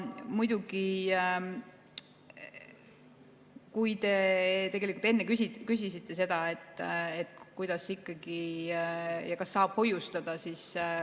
Muidugi, te enne küsisite, kuidas ikkagi ja kas saab hoiustada.